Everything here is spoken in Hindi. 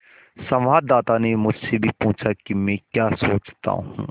संवाददाता ने मुझसे भी पूछा कि मैं क्या सोचता हूँ